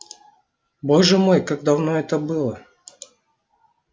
боже мой как давно это было